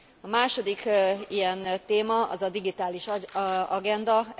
A második ilyen téma, az a digitális agenda.